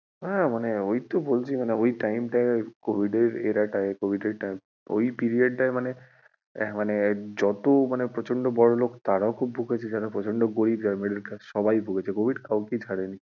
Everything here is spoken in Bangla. হ্যাঁ মানে ওইতো বলছি মানে ওই time টায় covid এর era টায় covid এর ওই period টায় মানে, মানে যত মানে প্রচণ্ড বড়লোক তারাও খুব ভুগেছে যারা প্রচণ্ড গরিব middle class সভাই ভুগেছে covid কাউকেই ছাড়েনি আর লোকের মনে ওই media